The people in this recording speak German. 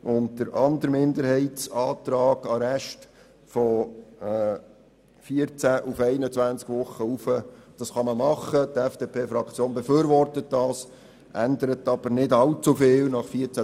Noch zum anderen Minderheitsantrag, der die Erhöhung der Dauer des Arrestes von 14 auf 21 Tage fordert: Das kann man machen, die FDP-Fraktion befürwortet das, obwohl dadurch nicht viel verändert wird.